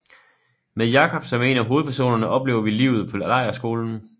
Med Jacob som en af hovedpersonerne oplever vi livet på lejrskolen